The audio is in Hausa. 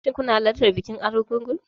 Shin kuna shirin halartar bikin Argungu?